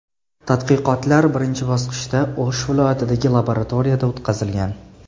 Tadqiqotlar birinchi bosqichda O‘sh viloyatidagi laboratoriyada o‘tkazilgan.